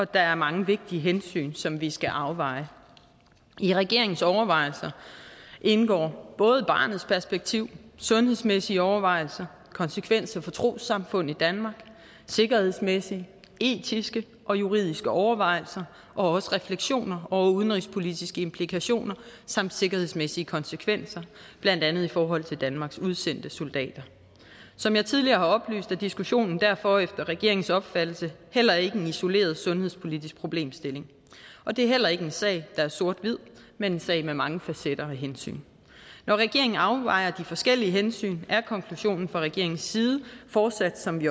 der er mange vigtige hensyn som vi skal afveje i regeringens overvejelser indgår både barnets perspektiv sundhedsmæssige overvejelser konsekvenser for trossamfund i danmark sikkerhedsmæssige etiske og juridiske overvejelser og også refleksioner over udenrigspolitiske implikationer samt sikkerhedsmæssige konsekvenser blandt andet i forhold til danmarks udsendte soldater som jeg tidligere har oplyst er diskussionen derfor efter regeringens opfattelse heller ikke en isoleret sundhedspolitisk problemstilling og det er heller ikke en sag der er sort hvid men en sag med mange facetter og hensyn når regeringen afvejer de forskellige hensyn er konklusionen fra regeringens side fortsat som vi